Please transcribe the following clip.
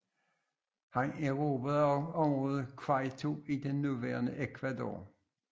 Han erobrede også området Quito i det nuværende Ecuador